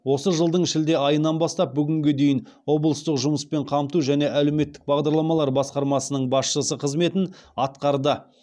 осы жылдың шілде айынан бастап бүгінге дейін облыстық жұмыспен қамту және әлеуметтік бағдарламалар басқармасының басшысы қызметін атқарды